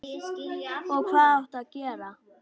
Og hvað áttu að gera?